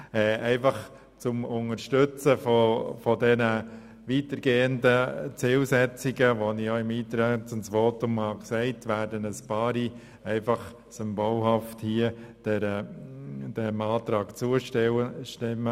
Zur Unterstützung der Zielsetzungen, die ich auch im Rahmen meines Eintretensvotums genannt habe, werden einige von uns als symbolische Geste dem Antrag zustimmen.